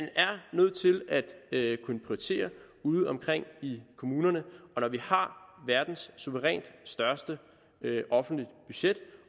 nødt til at kunne prioritere ude omkring i kommunerne og når vi har verdens suverænt største offentlige budget